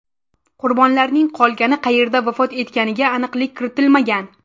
Qurbonlarning qolgani qayerda vafot etganiga aniqlik kiritilmagan.